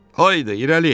Haydı irəli!